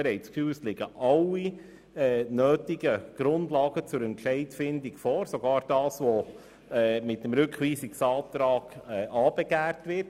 Wir finden, dass alle notwendigen Grundlagen zur Entscheidungsfindung vorliegen, sogar das, wogegen im Rückweisungsantrag aufbegehrt wird.